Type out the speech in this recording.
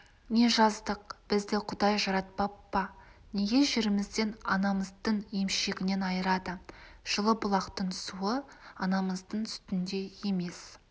не жаздық бізді құдай жаратпап па неге жерімізден анамыздың емшегінен айырады жылы-бұлақтың суы анамыздың сүтіндей емес